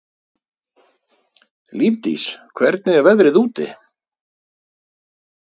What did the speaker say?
Lífdís, hvernig er veðrið úti?